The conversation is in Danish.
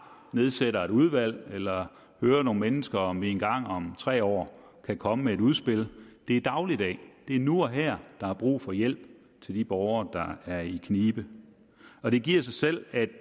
nedsætter et udvalg eller hører nogle mennesker om de en gang om tre år kan komme med et udspil det er dagligdag det er nu og her der er brug for hjælp til de borgere der er i knibe og det giver sig selv at